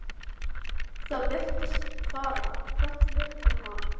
Það virtist fara hrollur um hann.